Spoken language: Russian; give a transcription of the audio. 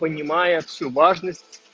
понимая всю важность